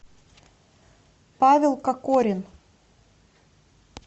павел кокорин